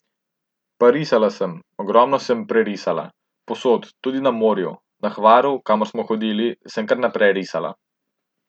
Pa risala sem, ogromno sem prerisala, povsod, tudi na morju, na Hvaru, kamor smo hodili, sem kar naprej risala.